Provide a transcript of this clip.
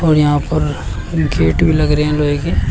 और यहां पर गेट भी लग रहे हैं लोहे के।